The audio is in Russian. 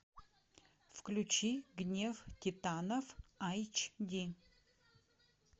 включи гнев титанов айч ди